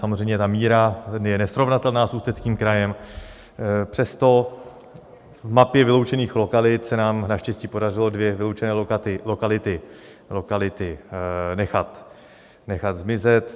Samozřejmě ta míra je nesrovnatelná s Ústeckým krajem, přesto v mapě vyloučených lokalit se nám naštěstí podařilo dvě vyloučené lokality nechat zmizet.